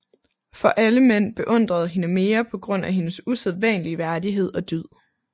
For alle mænd beundrede hende mere på grund af hendes usædvanlige værdighed og dyd